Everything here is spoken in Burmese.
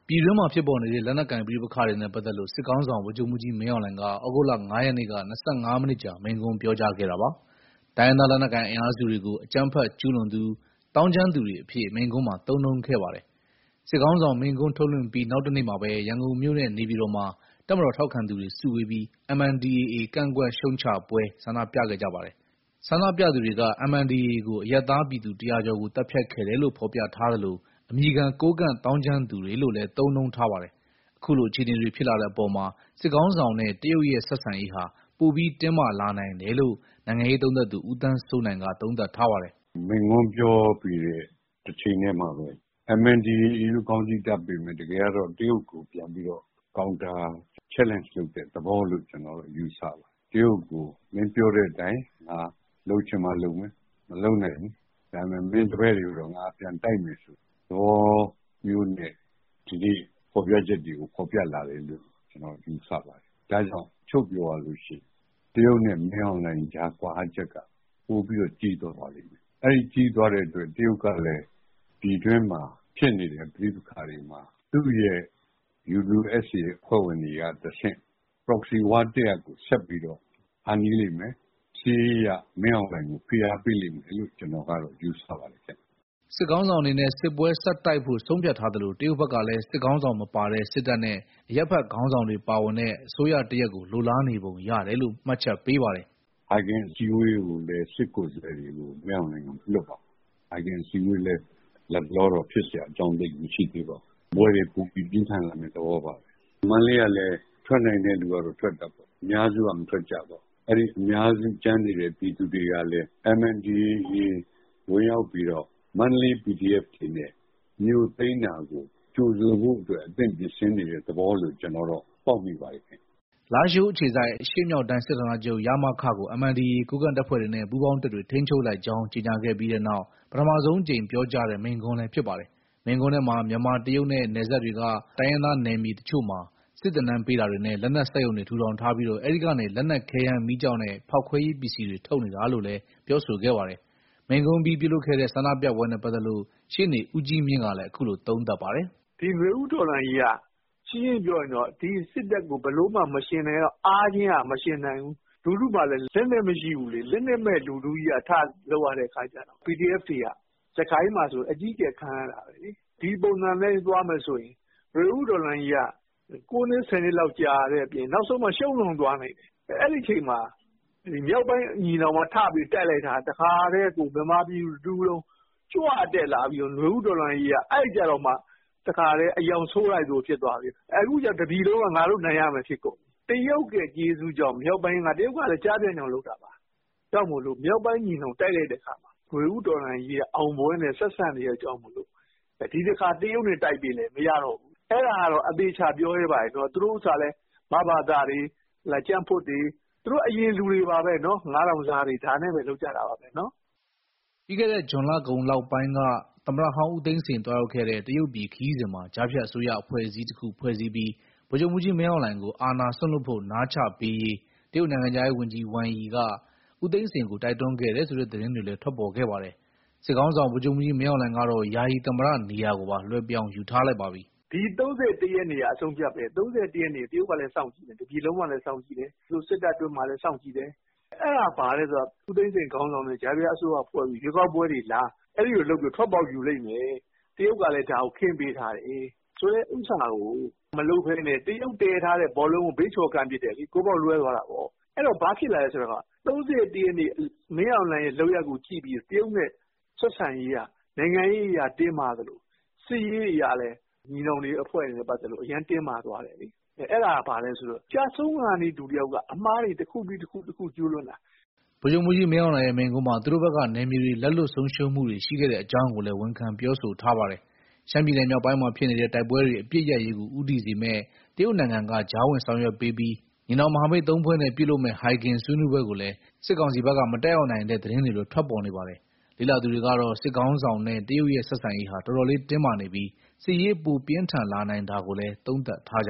ပြည်တွင်းမှာဖြစ်ပေါ်နေတဲ့ လက်နက်ကိုင်ပဋိပက္ခတွေနဲ့ ပတ်သက်လို့ စစ်ခေါင်းဆောင် ဗိုလ်ချုပ်မှူးကြီး မင်အောင်လှိုင်က ဩဂုတ်လ ၅ ရက်နေ့က ၂၅ မိနစ်ကြာ မိန့်ခွန်းပြောကြားခဲ့တာပါ။ တိုင်းရင်းသားလက်နက်ကိုင် အင်အားစုတွေကို အကြမ်းဖက်ကျူးလွန်သူ၊ သောင်းကျန်းသူတွေအဖြစ် မိန့်ခွန်းမှာ သုံးနှုန်းခဲ့ပါတယ်။ စစ်ခေါင်းဆောင်မိန့်ခွန်း ထုတ်လွှင့်ပြီး နောက်တနေ့မှာပဲ ရန်ကုန်မြို့နဲ့ နေပြည်တော်မှာ တပ်မတော်ထောက်ခံသူတွေ စုဝေးပြီး MNDAA ကန့်ကွက်ရှုတ်ချပွဲ ဆန္ဒပြခဲ့ကြပါတယ်။ ဆန္ဒပြသူတွေက MNDAA ကို အရပ်သားပြည်သူ ၁၀၀ ကျော်ကို သတ်ဖြတ်ခဲ့တယ်လို့ ဖော်ပြထားသလို၊ အမည်ခံ ကိုးကန့်သောင်းကျန်းသူတွေလို့လည်း သုံးနှုန်းထားပါတယ်။ အခုလို အခြေအနေတွေ ဖြစ်လာတဲ့အပေါ်မှာ စစ်ခေါင်းဆောင်နဲ့ တရုတ်ရဲ့ ဆက်ဆံရေးဟာ ပိုပြီးတင်းမာလာနိုင်တယ်လို့ နိုင်ငံရေးလေ့လာသူ ဦးသန်းစိုးနိုင်က သုံးသပ်ထားပါတယ်။ "မိန့်ခွန်းပြောပြီးတဲ့ တချိန်ထဲမှာပဲ MNDAA လို့ ခေါင်းစီးတပ်ပေမယ့် တကယ်ကတော့ တရုတ်ကိုပြန်ပြီးတော့ Counterchallenge လုပ်တဲ့သဘောလို့ ကျနော်တော့ ယူဆတယ်။ တရုတ်ကို မင်းပြောတဲ့အတိုင်း ငါလုပ်ချင်မှလုပ်မယ်၊ မလုပ်နိုင်ဘူး။ ဒါပေမဲ့ မင်းတပည့်တွေကိုတော့ ငါပြန်တိုက်မယ်ဆိုတဲ့ သဘောမျိုးနဲ့ ဒီနေ့ဖော်ပြချက်တွေကို ဖော်ပြလာတယ်လို့ ယူဆပါတယ်။ ဒါကြောင့် ချုံ့ပြောရလို့ရှိရင် တရုတ်နဲ့ မင်းအောင်လှိုင်ကြား ကွာဟချက်က ပိုပြီးတော့ ကြီးသွားပါလိမ့်မယ်။ အဲဒီကြီးသွားတဲ့အတွက် တရုတ်ကလည်း ပြည်တွင်းမှာဖြစ်နေတဲ့ ပဋိပက္ခတွေမှာ သူ့ရဲ့ UWSA အဖွဲ့ဝင်တွေကတဆင့် Proxy war တရပ်ကို ဆက်ပြီးတော့ ဖန်တီးလိမ့်မယ်။ စစ်ရေးအရ မင်းအောင်လှိုင်ကို ဖိအားပေးလိမ့်မယ်လို့ ကျနော်ကတော့ ယူဆပါတယ်။" စစ်ခေါင်းဆောင်အနေနဲ့ စစ်ပွဲဆက်တိုက်ဖို့ ဆုံးဖြတ်ထားသလို၊ တရုတ်ဘက်ကလည်း စစ်ခေါင်းဆောင်မပါတဲ့ စစ်တပ်နဲ့ အရပ်ဘက်ခေါင်းဆောင်တွေ ပါဝင်တဲ့ အစိုးရတရပ်ကို လိုလားနေပုံရတယ်လို့ မှတ်ချက်ပေးပါတယ်။ "ဟိုက်ဂင်အစည်းအဝေးကိုလည်း စစ်ကိုယ်စားလှယ်တွေကို မင်းအောင်လှိုင်က မလွှတ်ပါဘူး။ ဟိုက်ဂင်အစည်းအဝေးလည်း လတ်တလောတော့ ဖြစ်စရာအကြောင်း သိပ်မရှိသေးပါဘူး။ စစ်ပွဲတွေပိုပြီး ပြင်းထန်လာမယ့် သဘောပါပဲ။ မန္တလေးကလည်း ထွက်နိုင်တဲ့သူကတော့ ထွက်တာပေါ့။ အများစုက မထွက်ကြပါဘူး။ အဲဒီအများစု ကျန်နေတဲ့ ပြည်သူတွေကလည်း MNDAA ဝင်ရောက်ပြီးတော့ မန္တလေး PDF တွေနဲ့ မြို့သိမ်းတာကို ကြိုဆိုဖို့အတွက် အသင့်ပြင်ဆင်နေတဲ့ သဘောလို့ ပေါက်မိပါတယ်။" လားရှိုးအခြေစိုက် အရှေ့မြောက်တိုင်း စစ်ဌာနချုပ် ကို MNDAA ကိုးကန့်တပ်ဖွဲ့တွေနဲ့ ပူးပေါင်းတပ်တွေ ထိန်းချုပ်လိုက်ကြောင်း ကြေညာခဲ့ပြီးနောက် ပထမဆုံးအကြိမ် ပြောကြားတဲ့ မိန့်ခွန်းလည်း ဖြစ်ပါတယ်။ မိန့်ခွန်းထဲမှာ မြန်မာ - တရုတ်နဲ့ နယ်စပ်တွေက တိုင်းရင်းသားနယ်မြေ အချို့မှာ စစ်သင်တန်းပေးတာတွေနဲ့ လက်နက် စက်ရုံတွေထူထောင်ထားပြီး အဲဒီကနေ လက်နက်ခဲယမ်းမီးကျောက်နဲ့ ဖောက်ခွဲရေး ပစ္စည်းတွေ ထုတ်နေတာလို့လည်း ပြောဆိုခဲ့ပါတယ်။ မိန့်ခွန့်အပြီး ပြုလုပ်ခဲ့တဲ့ ဆန္ဒပြပွဲနဲ့ပတ်သက်လို့ ရှေ့နေဦးကြီးမြင့်ကလည်း အခုလို သုံးသပ်ထားပါတယ်။ "ဒီနွေဦးတော်လှန်ရေးက ရှင်းရှင်းပြောရရင် ဒီစစ်တပ်ကို အားချင်းကမယှဉ်နိုင်ဘူး။ လူထုမှာလည်း လက်နက်မရှိဘူးလေ။ လက်နက်မဲ့လူထုကြီးက ထလုပ်ရတဲ့အခါကျတော့ PDF တွေက စစ်ကိုင်းမှာဆို အကြီးအကျယ် ခံရတာပဲလေ။ ဒီပုံစံအတိုင်းသွားမယ်ဆိုရင် နွေဦးတော်လှန်ရေးက ၉နှစ်၊ ၁၀နှစ်လောက် ကြာတဲ့အပြင် နောက်ဆုံးမှာ ရှုံးတောင်သွားနိုင်တယ်။ အဲဒီအချိန်မှာ မြောက်ပိုင်းညီနောင်က ထပြီးတိုက်လိုက်တာ လူထုကကြွတက်လာပြီးတော့ နွေဦးတော်လှန်ရေးက အဲကျတော့မှ တခါထဲ အရောင်ဆိုးလိုက်သလို ဖြစ်သွားပြီးတော့ အခုကျ တပြည်လုံးက ငါတို့နိုင်ရမယ် ဖြစ်ကုန်တယ်။ တရုတ်ရဲ့ကျေးဇူးကြောင့် တရုတ်ကလည်း ကျားဖြန့်ကြောင့်လုပ်တာပါ။ မြောက်ပိုင်းညီနောင်က တိုက်လိုက်တဲ့အခါမှာ နွေဦးတော်လှန်ရေးက အောင်ပွဲနဲ့ဆက်စပ်နေတာကြောင့် ဒီတခါ တရုတ်နဲ့တိုက်ပေးလည်း မရတော့ဘူး။ အဲဒါကတော့ အသေအချာ ပြောရဲပါတယ်။ သူတို့ဥစ္စာကလည်း မဘသတွေ၊ ကြံ့ဖွတ်တွေ၊ သူတို့အရင်လူတွေပါပဲ။ ၅,၀၀၀ စားတွေနဲ့ပဲ လုပ်ကြတာပါပဲ။" ပြီးခဲ့တဲ့ ဇွန်လကုန်ပိုင်းလောက်က သမ္မတဟောင်းဦးသိန်းစိန် သွားရောက်ခဲ့တဲ့ တရုတ်ပြည်ခရီးစဉ်မှာ ကြားဖြတ်အစိုးရ အဖွဲအစည်းတခုဖွဲ့စည်းပြီး ဗိုလ်ချုပ်မှူးကြီး မင်းအောင်လှိုင်ကို အာဏာစွန့်လွှတ်ဖို့ နားချပေးရေး တရုတ်နိုင်ငံခြားရေးဝန်ကြီး Wang Yi က ဦးသိန်းစိန်ကို တိုက်တွန်းခဲ့တယ်ဆိုတဲ့ သတင်းတွေလည်း ထွက်ပေါ်ခဲ့ပါတယ်။ စစ်ခေါင်းဆောင် ဗိုလ်ချုပ်မှူးကြီး မင်းအောင်လှိုင်ကတော့ ယာယီသမ္မတနေရာကိုပါ လွှဲပြောင်းယူထားလိုက်ပါပြီ။ "ဒီ ၃၁ ရက်နေ့က အဆုံးအဖြတ်ပဲ။ ၃၁ ရက်နေ့က တရုတ်ကလည်း စောင့်ကြည့်တယ်။ တပြည်လုံးကလည်း စောင့်ကြည့်တယ်။ သူတို့စစ်တပ်အတွင်းမှာလည်း စောင့်ကြည့်တယ်။ အဲဒါဘာလဲဆိုတော့ ဦးသိန်းစိန်ခေါင်းဆောင်တဲ့ ကြားဖြတ်အစိုးရဖွဲ့ပြီး ရွေးကောက်ပွဲတွေလား။ အဲဒီလိုလုပ်ပြီးတော့ ထွက်ပေါက်ယူလိမ့်မယ်။ တရုတ်ကလည်း ဒါကိုခင်းပေးထားတယ်ဆိုတဲ့ ဥစ္စာကို မလုပ်ဘဲနဲ့ တရုတ်တည်ထားတဲ့ ဘောလုံးကို ဘေးချော်ကန်ပစ်တယ်လေ။ ဂိုးပေါက်လွဲသွားတာပေါ့။ အဲတော့ ဘာဖြစ်လာလဲဆိုတော့ ၃၁ရက်နေ့ မင်းအောင်လှိုင်ရဲ့ လုပ်ရပ်ကိုကြည့်ပြီးတော့ တရုတ်နဲ့ ဆက်ဆံရေးက နိုင်ငံရေးအရတင်းမာသလို စစ်ရေးအရလည်း ညီနောင်အဖွဲ့တွေနဲ့ ပတ်သက်လို့ အရမ်းတင်းမာသွားတယ်လေ။ အဲဒါက ဘာလဲဆိုတော့ ကျဆုံးခါနီးလူတယောက်က အမှားတွေတခုပြီးတခု ကျူးလွန်တာပဲ။" ဗိုလ်ချုပ်မှူးကြီး မင်းအောင်လှိုင်ရဲ့ မိန့်ခွန်းမှာ သူတို့ဘက်က နယ်မြေတွေ လက်လွှတ်ဆုံးရှုံးမှုတွေ ရှိခဲ့တဲ့အကြောင်းကိုလည်း ဝန်ခံပြောဆိုထားပါတယ်။ ရှမ်းပြည်နယ်မြောက်ပိုင်းမှာဖြစ်နေတဲ့ တိုက်ပွဲတွေ အပစ်ရပ်ရေးကို ဦးတည်စေမယ့် တရုတ်နိုင်ငံက ကြားဝင် ဆောင်ရွက်ပေးပြီး ညီနောင်မဟာမိတ် ၃ ဖွဲ့နဲ့ ပြုလုပ်မယ့် ဟိုင်ဂင်ဆွေးနွေးပွဲကိုလည်း စစ်ကောင်စီဘက်က မတက်ရောက်နိုင်တဲ့ သတင်းတွေလည်း ထွက်ပေါ်နေပါတယ်။ လေ့လာသူတွေကတော့ စစ်ခေါင်းဆောင်နဲ့ တရုတ်ရဲ့ဆက်ဆံရေးဟာ တော်တော်လေးတင်းမာနေပြီး စစ်ရေးပိုပြင်းထန်လာနိုင်တာကိုလည်း သုံးသပ်ထားကြ